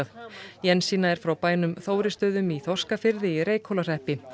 Jensína er frá bænum Þórisstöðum í Þorskafirði í Reykhólahreppi